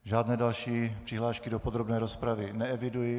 Žádné další přihlášky do podrobné rozpravy neeviduji.